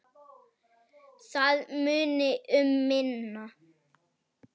Það muni um minna.